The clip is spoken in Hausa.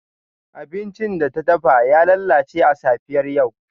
Abincin da ta dafa ya lalace a safiyar yau.